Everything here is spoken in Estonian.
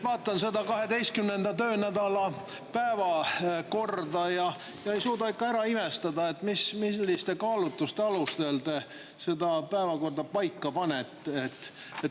Vaatan seda 12. töönädala päevakorda ja ei suuda ära imestada, milliste kaalutluste alusel te selle paika panite.